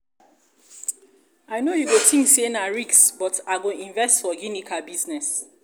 i know you go think say na risk but i go invest for ginika business